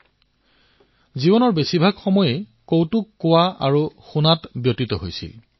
অধিকাংশৰ জীৱন কৌতুকতেই সীমাৱদ্ধ হৈ ৰৈছিল